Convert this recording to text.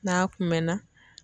N'a kun mɛnna